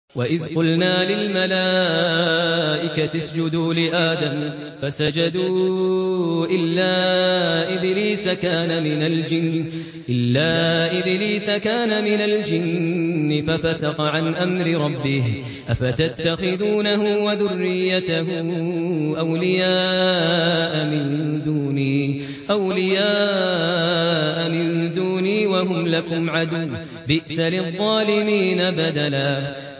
وَإِذْ قُلْنَا لِلْمَلَائِكَةِ اسْجُدُوا لِآدَمَ فَسَجَدُوا إِلَّا إِبْلِيسَ كَانَ مِنَ الْجِنِّ فَفَسَقَ عَنْ أَمْرِ رَبِّهِ ۗ أَفَتَتَّخِذُونَهُ وَذُرِّيَّتَهُ أَوْلِيَاءَ مِن دُونِي وَهُمْ لَكُمْ عَدُوٌّ ۚ بِئْسَ لِلظَّالِمِينَ بَدَلًا